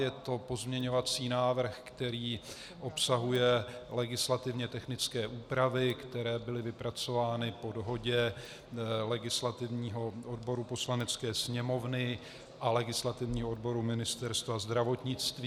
Je to pozměňovací návrh, který obsahuje legislativně technické úpravy, které byly vypracovány po dohodě legislativního odboru Poslanecké sněmovny a legislativního odboru Ministerstva zdravotnictví.